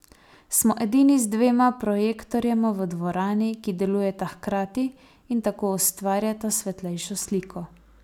Smo edini z dvema projektorjema v dvorani, ki delujeta hkrati in tako ustvarjata svetlejšo sliko.